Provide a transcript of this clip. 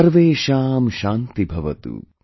Sarvesham Shanti Bhavatu